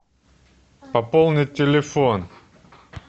пополнить телефон